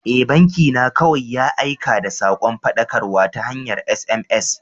E, banki na kawai ya aika da sakon faɗakarwa ta hanyar SMS.